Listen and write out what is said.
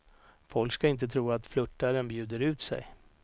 Folk ska inte tro att flörtaren bjuder ut sig.